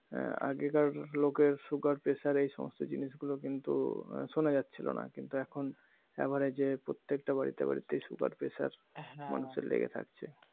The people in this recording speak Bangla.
এর আগেকার লোকের সুগার পেশার এই সমস্ত জিনিস গুলো কিন্তু সোনা যাচ্ছিলনা কিন্তু এখন এভারেজ প্রত্যেকটা বাড়িতে বাড়িতেই সুগার পেসার হ্যাঁ মানুষের লেগে থাকছে